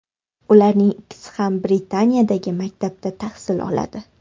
Ularning ikkisi ham Britaniyadagi maktabda tahsil oladi.